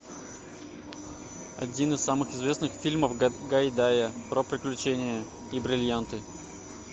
один из самых известных фильмов гайдая про приключения и бриллианты